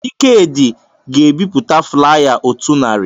Ikedị ga-ebipụta flaya otu narị